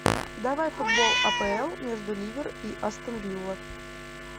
давай футбол апл между ливер и астон вилла